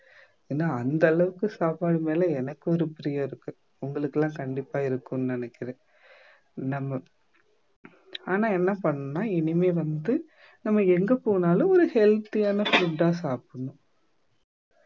ஏன்னா அந்த அளவுக்கு சாப்பாடு மேல எனக்கு ஒரு பிரியம் இருக்கு உங்களுக்கு எல்லாம் கண்டிப்பா இருக்கும்னு நினைக்கிறேன் நம்ம ஆனா என்ன பண்ணணும்னா இனிமே வந்து நம்ம எங்க போனாலும் ஒரு healthy ஆன food அ சாப்பிடணும்